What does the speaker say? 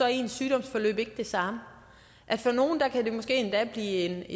er ens sygdomsforløb ikke det samme for nogle kan det måske endda blive